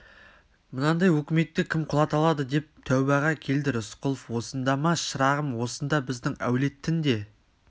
мынандай өкіметті кім құлата алады деп тәубаға келді рысқұлов осында ма шырағым осында біздің әулеттің де